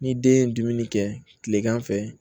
Ni den ye dumuni kɛ kilegan fɛ